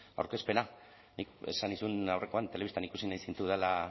aurkezpena nik esan nizun aurrekoan telebistan ikusi nahi zintudala